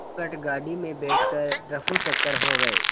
झटपट गाड़ी में बैठ कर ऱफूचक्कर हो गए